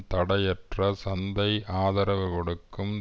தடையற்ற சந்தை ஆதரவு கொடுக்கும்